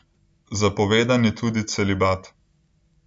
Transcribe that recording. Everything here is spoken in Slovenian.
Zapovedan je tudi popoln celibat.